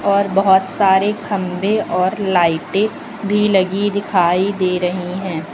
और बोहोत सारे खंभे और लाइटें भी लगी दिखाई दे रही हैं।